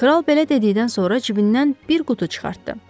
Kral belə dedikdən sonra cibindən bir qutu çıxartdı.